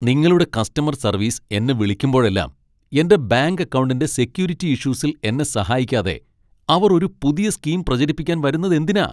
നിങ്ങളുടെ customer service എന്നെ വിളിക്കുമ്പോഴെല്ലാം, എന്റെ ബാങ്ക് അക്കൗണ്ടിന്റെ സെക്യൂരിറ്റി ഇഷ്യൂസിൽ എന്നെ സഹായിക്കാതെ അവർ ഒരു പുതിയ സ്കീം പ്രചരിപ്പിക്കാൻ വരുന്നതെന്തിനാ?